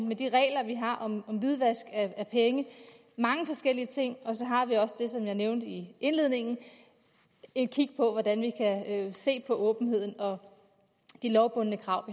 med de regler vi har om hvidvask af penge mange forskellige ting og så har vi også det som jeg nævnte i indledningen nemlig at kan se på åbenheden og de lovbundne krav